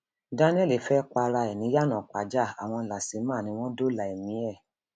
daniel fẹ para ẹ ni iyanaìpájà àwọn lasema ni wọn dóòlà ẹmí ẹ